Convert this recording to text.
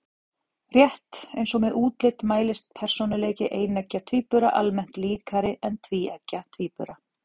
Rétt eins og með útlit mælist persónuleiki eineggja tvíbura almennt líkari en tvíeggja tvíbura.